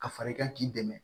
Ka fara i kan k'i dɛmɛ